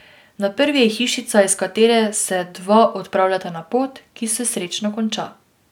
Na prvi je hišica, iz katere se dva odpravljata na pot, ki se srečno konča.